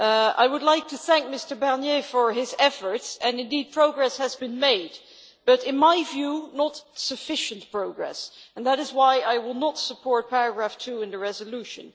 I would like to thank Mr Barnier for his efforts, and indeed progress has been made but, in my view, not sufficient progress and that is why I will not support paragraph 2 of the resolution.